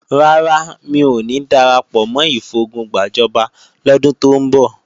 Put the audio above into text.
Rárá, mi ò ní darapọ̀ mọ́ ìfogun gbàjọba lọ́dún tó ń bọ̀